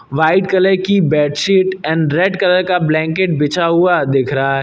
White colour की bedsheet and red colour का blanket बिछा हुआ दिख रहा है।